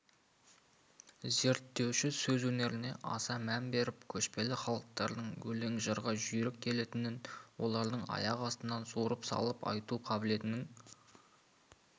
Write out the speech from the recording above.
зерттеуші сөз өнеріне аса мән беріп көшпелі халықтардың өлең-жырға жүйрік келетінін олардың аяқ астынан суырып салып айту қабілетінің